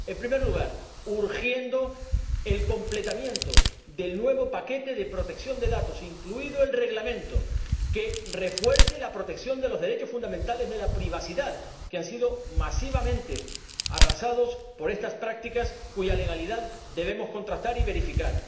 En primer lugar, instando a que se complete el nuevo paquete de protección de datos, incluido el Reglamento que refuerce la protección de los derechos fundamentales de la privacidad, que han sido masivamente arrasados por estas prácticas cuya legalidad debemos contrastar y verificar.